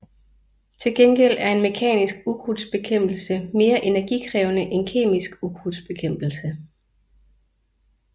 Til gengæld er en mekanisk ukrudtbekæmpelse mere energikrævende end kemisk ukrudtbekæmpelse